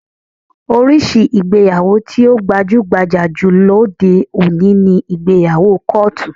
Oríṣi ìgbéyàwó tí ó gbajú-gbajà jù lóde òní ni ìgbéyàwó kọ́ọ̀tù